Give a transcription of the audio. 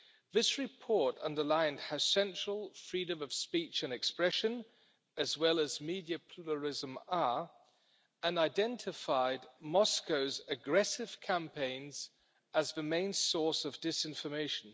This report underlined how central freedom of speech and expression, as well as media pluralism, and identified Moscow's aggressive campaigns as the main source of disinformation.